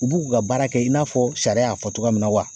U b'u ka baara kɛ i n'a fɔ sariya y'a fɔ togoya min na wa?